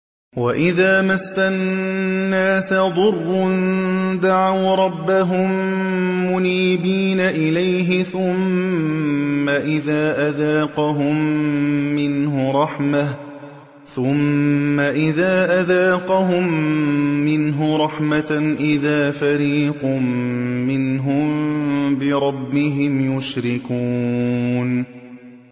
وَإِذَا مَسَّ النَّاسَ ضُرٌّ دَعَوْا رَبَّهُم مُّنِيبِينَ إِلَيْهِ ثُمَّ إِذَا أَذَاقَهُم مِّنْهُ رَحْمَةً إِذَا فَرِيقٌ مِّنْهُم بِرَبِّهِمْ يُشْرِكُونَ